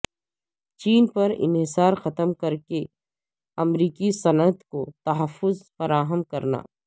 چین پر انحصار ختم کر کے امریکی صنعت کو تحفظ فراہم کرنا